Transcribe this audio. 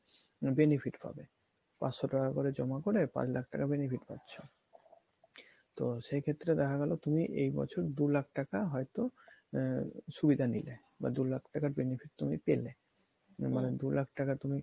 benefit পাবে পাঁচশ টাকা করে জমা করে পাঁচ লাখ টাকা benefit পাচ্ছ তো সেক্ষেত্রে দেখা গেলো তুমি এই বছর দু লাখ টাকা হয়তো আহ সুবিধা নিলে বা দু লাখ টাকার benefit তুমি পেলে মানে দু লাখ টাকা তুমি